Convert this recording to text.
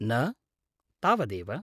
न, तावदेव।